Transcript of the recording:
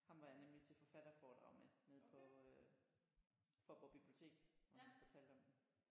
Ham var jeg nemlig til forfatterforedrag med nede på øh Faaborg Bibliotek hvor han fortalte om den